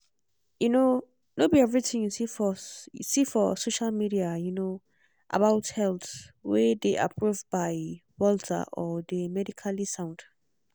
um no be everything you see for you see for social media um about health um dey approved by walter or dey medically sound.